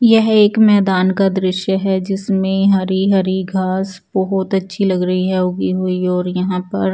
यह एक मैदान का दृश्य है जिसमें हरी हरी घास बहोत अच्छी लग रही है उगी हुई और यहां पर--